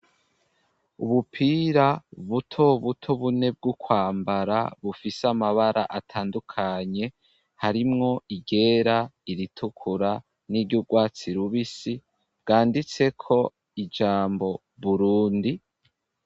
Ubupira buto buto bune bwo kwambara bufise amabara atandukanye, harimwo iryera, iritukura, niry'urwatsi rubisi, bwanditseko ijambo "burundi".